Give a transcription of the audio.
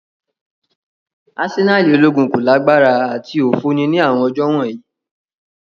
Asenali ologun ko lagbara ati ofo ni awọn ọjọ wọnyi.